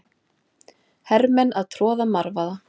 Hermenn að troða marvaða.